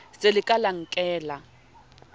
le se ke la nkella